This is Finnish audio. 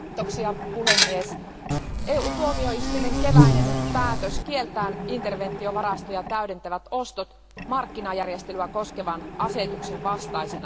Arvoisa puhemies, EU tuomioistuimen keväinen päätös kieltää interventiovarastoja täydentävät ostot markkinajärjestelyjä koskevan asetuksen vastaisena.